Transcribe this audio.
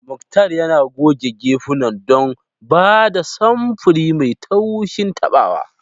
Muktar yana goge gefunan don ba da samfuri mai taushin tabawa.